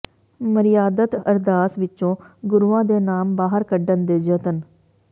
ਮਰਿਆਦਤ ਅਰਦਾਸ ਵਿਚੋਂ ਗੁਰੂਆਂ ਦੇ ਨਾਮ ਬਾਹਰ ਕੱਢਣ ਦੇ ਯਤਨ